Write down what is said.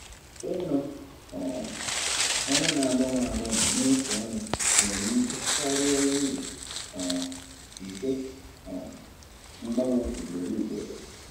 Ịrụ um ọrụ na-agbanwe agbanwe n'otu ọrụ nwere ike karịa uru um nke um mgbanwe ugboro ugboro.